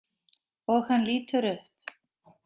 Og hann lítur upp.